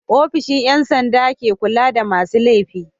ofishin Yan sanda ke kulada masu lefi